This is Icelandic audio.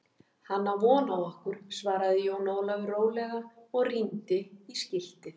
Hann á von á okkur, svaraði Jón Ólafur rólega og rýndi í skiltið.